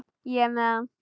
Ég er með hann.